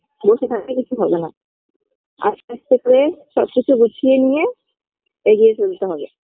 বসে থাকলে কিছু হবে না আস্তে আস্তে করে সবকিছু গুছিয়ে নিয়ে এগিয়ে চলতে হবে